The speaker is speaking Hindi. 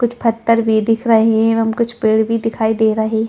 कुछ पत्थर भी दिख रही है एवं कुछ पेड़ भी दिखाई दे रही हैं।